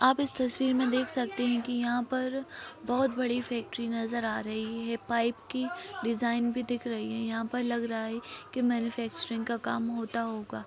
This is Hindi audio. आप इस तस्वीर में देख सकते है कि यहाँ पर बहुत बड़ी फैक्टरी नज़र आ रही है पाइप की डिज़ाइन भी दिख रही है यहाँ पर लग रहा है कि मैन्युफैक्चरिंग का काम होता होगा।